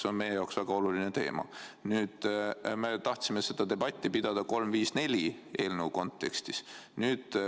See on meie jaoks väga oluline teema ja me tahtsime selle üle debatti pidada eelnõu 354 kontekstis.